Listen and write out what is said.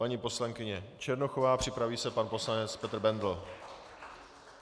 Paní poslankyně Černochová, připraví se pan poslanec Petr Bendl.